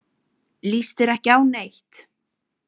Líst þér ekki á neitt?